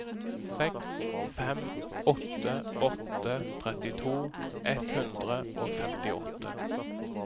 seks fem åtte åtte trettito ett hundre og femtiåtte